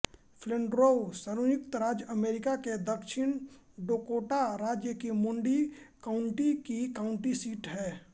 फ़्लैण्ड्रोउ संयुक्त राज्य अमेरिका के दक्षिण डकोटा राज्य की मूडी काउण्टी की काउण्टी सीट है